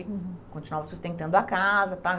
Ele continuava sustentando a casa, tá?